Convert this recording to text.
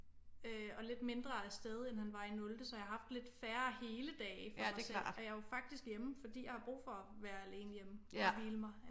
Øh og lidt mindre af sted end han var i nulte så jeg har haft lidt færre hele dage for mig selv og jeg er jo faktisk hjemme fordi jeg har brug for at være alene hjemme og hvile mig